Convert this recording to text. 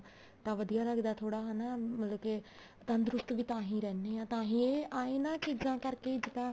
ਤਾਂ ਵਧੀਆ ਲੱਗਦਾ ਥੋੜਾ ਹਨਾ ਮਤਲਬ ਕੇ ਤੰਦਰੁਸਤ ਵੀ ਤਾਂਹੀ ਰਹਿੰਦੇ ਹਾਂ ਤਾਂਹੀ ਇਹ ਇਹਨਾ ਚੀਜ਼ਾਂ ਕਰਕੇ ਇੱਕ ਤਾਂ